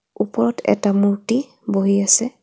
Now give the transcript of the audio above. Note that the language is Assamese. ওপৰত এটা মুৰ্ত্তি বহি আছে।